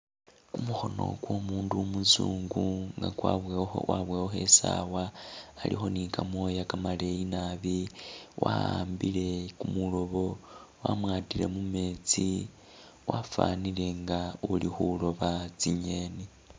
Kumukhoono kwo'mundu umunzungu nga kwabowa kwabowakho isaawa alikho ni kamooya kamaleeyi naabi waambile kumulobo wamwatile mumetsi wafanile nga uli khuroba tsi'ngeni